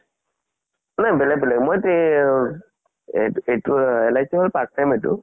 মানে বেলেগ বেলেগ । মই তে-অ এহ এইটো LIC হল part time আইটো